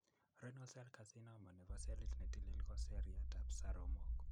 Renal cell Carcinoma nebo selit ne tilil ko seriatab saromok .